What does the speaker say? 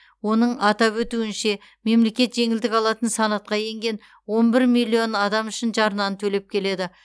оның атап өтуінше мемлекет жеңілдік алатын санатқа енген он бір миллион адам үшін жарнаны төлеп келеді